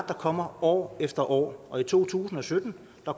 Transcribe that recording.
der kommer år efter år og i to tusind og sytten